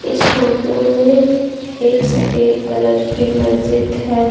इस फोटो में एक सफेद कलर की मस्जिद है।